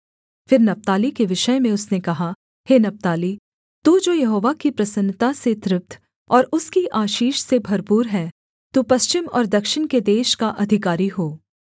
फिर नप्ताली के विषय में उसने कहा हे नप्ताली तू जो यहोवा की प्रसन्नता से तृप्त और उसकी आशीष से भरपूर है तू पश्चिम और दक्षिण के देश का अधिकारी हो